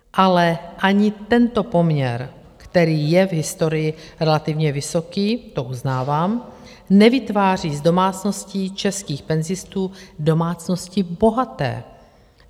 Ale ani tento poměr, který je v historii relativně vysoký, to uznávám, nevytváří z domácností českých penzistů domácnosti bohaté.